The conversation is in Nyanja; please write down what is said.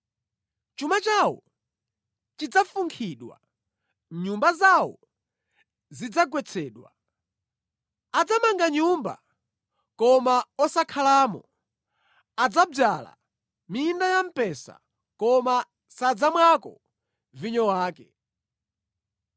Chuma chawo chidzafunkhidwa, nyumba zawo zidzagwetsedwa. Adzamanga nyumba, koma osakhalamo; adzadzala minda ya mpesa koma sadzamwako vinyo wake.”